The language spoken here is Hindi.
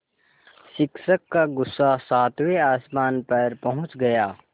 शिक्षक का गुस्सा सातवें आसमान पर पहुँच गया